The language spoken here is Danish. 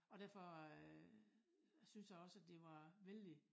Og derfor øh synes jeg også at det var vældig